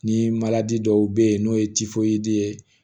Ni dɔw be yen n'o ye ye